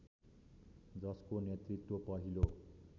जसको नेतृत्व पहिलो